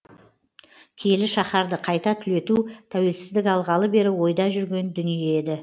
киелі шаһарды қайта түлету тәуелсіздік алғалы бері ойда жүрген дүние еді